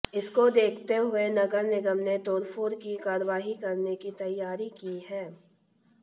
इसको देखते हुए नगर निगम ने तोड़फोड़ की कार्रवाई करने की तैयारी की है